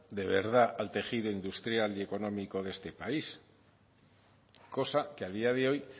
de verdad al tejido industrial y económico de este país cosa que a día de hoy